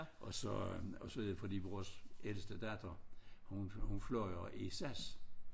Og så og så fordi vores ældste datter hun hun fløj i SAS